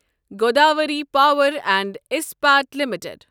Godavari Power and Ispat limited